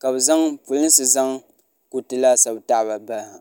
ka polinsi zaŋ kuriti laasabu tahaba bahi ha